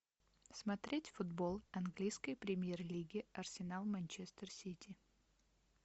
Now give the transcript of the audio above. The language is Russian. смотреть футбол английской премьер лиги арсенал манчестер сити